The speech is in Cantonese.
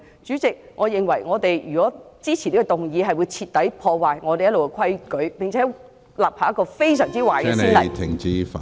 主席，如果我們支持此項議案，我認為將會徹底破壞立法會一直以來的規矩，並且立下一個非常壞的先例。